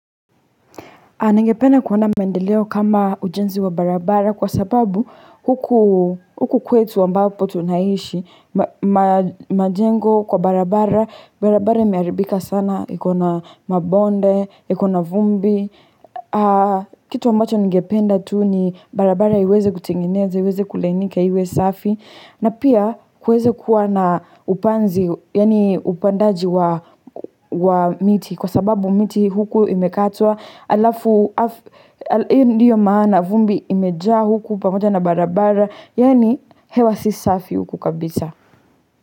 Ningependa kuona maendeleo kama ujenzi wa barabara kwasababu huku huku kwetu ambapo tunaishi, majengo kwa barabara, barabara imeharibika sana, iko na mabonde, iko na vumbi. Kitu ambacho ningependa tu ni barabara iweze kutengenezwa, iweze kulainika iwe safi na pia kuweze kuwa na upanzi, yani upandaji wa wa miti Kwa sababu mti huku imekatwa halafu Iyo ndiyo maana, vumbi imejaa huku pamoja na barabara Yani hewa si safi huku kabisa.